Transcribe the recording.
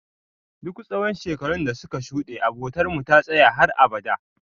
Duk tsawon shekarun dasuka shuɗe, abotarmu ta tsaya har abada.